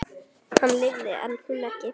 Hann lifði en hún ekki.